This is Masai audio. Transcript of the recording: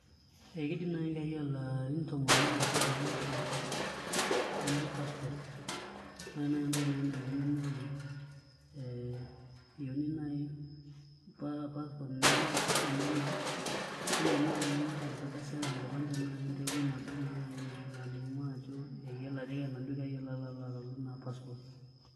Ee kiidim naai enkerai olarin tomon oile mpaka tomon oopishana anoto passport ore naai entoki nayieuni naa ee eyieuni naai passport naa enye aa pisha enye naa neyieuni naai enkardasi arashu enkipande naai entoiwuoi nabo naa nai nalimu ajo eyiolo ajo egira naa ina kerai alo atalu ina passport.